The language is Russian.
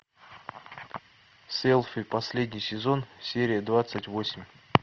селфи последний сезон серия двадцать восемь